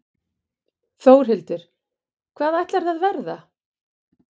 Þórhildur: Hvað ætlarðu að verða?